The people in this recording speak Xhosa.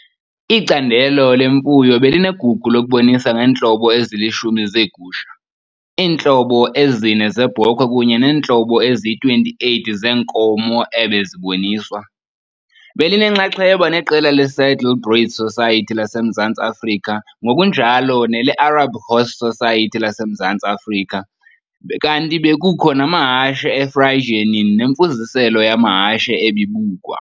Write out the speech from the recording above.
Icandelo lemfuyo belinegugu lokubonisa ngeentlobo ezilishumi zeegusha, iintlobo ezine zeebhokhwe kunye neentlobo eziyi-28 zeenkomo ebeziboniswa. Belinenxaxheba neqela leSaddlebred Society laseMzantsi Afrika ngokunjalo neleArab Horse Society laseMzantsi Afrika, kanti bekukho namahashe eFriesianin nemifuziselo yamahashe ebibukwa.